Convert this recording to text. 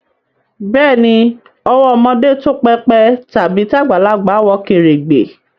Beeni, owó ọmọdé tó pépè tàbí tagbalagbà wọ kèrègbè